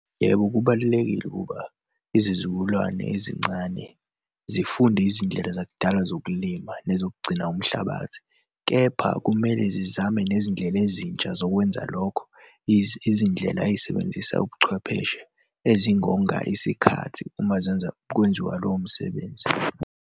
Yebo, kubalulekile ukuba izizukulwane ezincane zifunde izindlela zakudala zokulima nezokugcina umhlabathi. Kepha kumele zizame nezindlela ezintsha zokwenza lokho. Izindlela ezisebenzisa ubuchwepheshe ezingonga isikhathi uma zenza, kwenziwa lowo msebenzi.